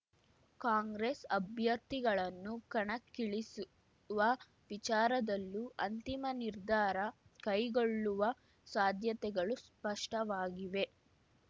ಕಾಂಗ್ರೆಸ್ ಅಭ್ಯರ್ಥಿಗಳನ್ನು ಕಣಕ್ಕಿಳಿಸುವ ವಿಚಾರದಲ್ಲೂ ಅಂತಿಮ ನಿರ್ಧಾರ ಕೈಗೊಳ್ಳುವ ಸಾಧ್ಯತೆಗಳು ಸ್ಪಷ್ಟವಾಗಿವೆ